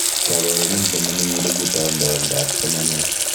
Kabarunet neminik olekitaundoi oldoab somanet